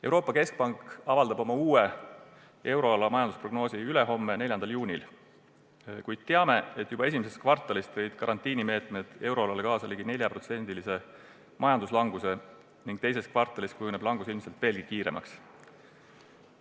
Euroopa Keskpank avaldab euroala uue majandusprognoosi ülehomme, 4. juunil, kuid teame, et juba I kvartalis tõid karantiinimeetmed euroalal kaasa ligi 4% majanduslanguse ning II kvartalis kujuneb langus ilmselt veelgi kiiremaks.